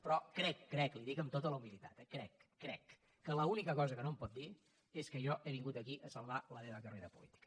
però crec ho crec li ho dic amb tota la humilitat eh ho crec que l’única cosa que no em pot dir és que jo he vingut aquí a salvar la meva carrera política